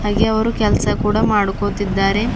ಹಾಗೆ ಅವರು ಕೆಲಸ ಕೂಡ ಮಾಡ್ಕೋತಿದ್ದಾರೆ.